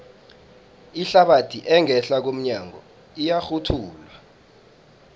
ihlabathi engehla komnyago iyarhutjhulwa